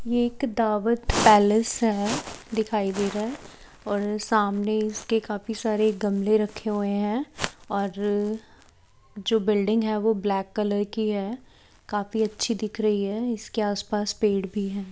ये एक दावत पैलेस है दिखाई दे रहा है और सामने इसके काफी सारे गमले रखे हुए है और अः जो बिल्डिंग है वो ब्लैक कलर की है काफी अच्छी दिख रही है इसके आस पास पेड़ भी है।